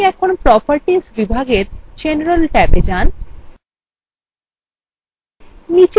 আপনি এখন প্রোপার্টিস বিভাগে general ট্যাবে যান